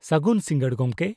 ᱥᱟᱹᱜᱩᱱ ᱥᱤᱸᱜᱟᱹᱲ, ᱜᱚᱝᱠᱮ !